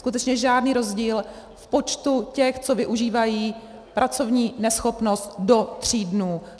Skutečně žádný rozdíl v počtu těch, co využívají pracovní neschopnost do tří dnů.